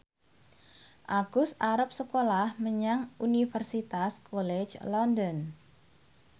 Agus arep sekolah menyang Universitas College London